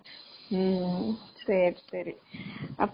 அப்படியா சரி, சரி.